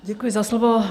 Děkuji za slovo.